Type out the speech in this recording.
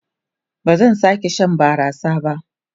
Ba zan sake shan barasa ba.